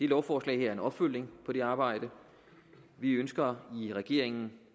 lovforslag er en opfølgning på det arbejde vi ønsker i regeringen